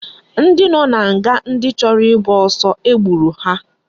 Ndi no na nga ndi choro igba osu egburu ha